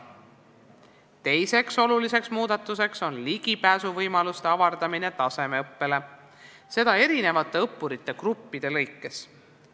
Teine oluline muudatus on tasemeõppele ligipääsuvõimaluste avardamine, seda erinevate õppurigruppide jaoks.